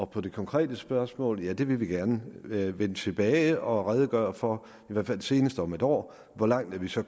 på det konkrete spørgsmål vil ja vi vil gerne vende tilbage og redegøre for i hvert fald senest om en år hvor langt vi så